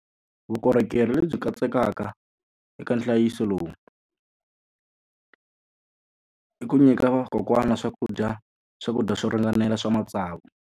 Vukorhokeri lebyi katsekaka eka nhlayiso lowu i ku nyika vakokwana swakudya swakudya swo ringanela swa matsavu.